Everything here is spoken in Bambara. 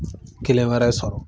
Kelen wɛrɛ sɔrɔ.